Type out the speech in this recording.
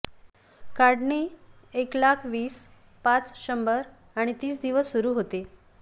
काढणी एक लाख वीस पाच शंभर आणि तीस दिवस सुरू होते